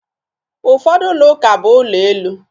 Ụfọdụ ụlọuka bụ ụlọ elu